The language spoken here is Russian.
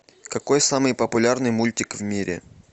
какой самый популярный мультик в мире